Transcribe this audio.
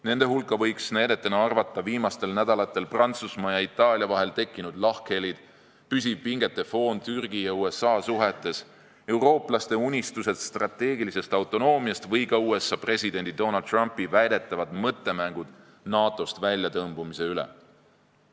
Nende hulka võiks näidetena arvata viimastel nädalatel Prantsusmaa ja Itaalia vahel tekkinud lahkhelid, püsiv pingete foon Türgi ja USA suhetes, eurooplaste unistused strateegilisest autonoomiast või ka USA presidendi Donald Trumpi väidetavad mõttemängud NATO-st väljatõmbumise üle.